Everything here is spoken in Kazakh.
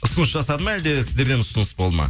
ұсыныс жасады ма әлде сіздерден ұсыныс болды ма